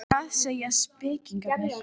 Hvað segja spekingarnir?